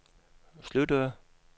sluttede